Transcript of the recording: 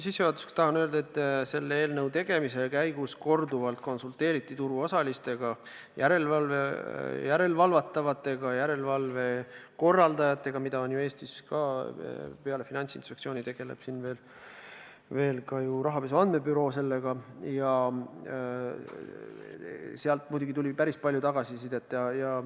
Sissejuhatuseks tahan öelda, et selle eelnõu tegemise käigus konsulteeriti korduvalt turuosalistega, järelevalvatavatega ja järelevalve korraldajatega – peale Finantsinspektsiooni tegeleb Eestis sellega ju ka rahapesu andmebüroo – ja neilt tuli muidugi päris palju tagasisidet.